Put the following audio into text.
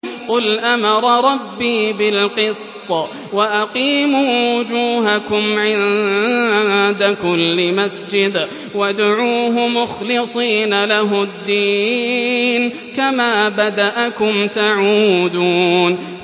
قُلْ أَمَرَ رَبِّي بِالْقِسْطِ ۖ وَأَقِيمُوا وُجُوهَكُمْ عِندَ كُلِّ مَسْجِدٍ وَادْعُوهُ مُخْلِصِينَ لَهُ الدِّينَ ۚ كَمَا بَدَأَكُمْ تَعُودُونَ